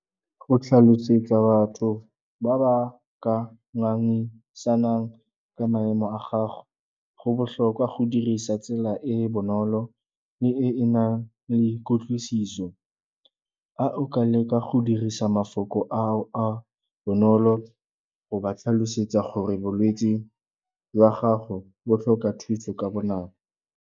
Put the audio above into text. Go tlhalosetsa batho ba ba ka ngangisanang ka maemo a gago go botlhokwa go dirisa tsela e e bonolo le e e nang le kutlwisiso. A o ka leka go dirisa mafoko a bonolo go ba tlhalosetsa gore bolwetsi jwa gago bo tlhoka thuso ka bonako.